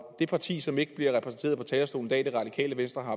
det parti som ikke bliver repræsenteret på talerstolen i dag det radikale venstre har